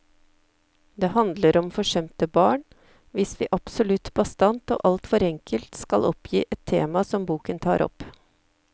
Det handler om forsømte barn, hvis vi absolutt bastant og alt for enkelt skal oppgi et tema som boken tar opp.